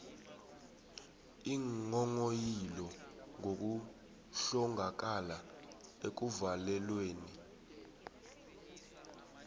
iinghonghoyilo ngokuhlongakala ekuvalelweni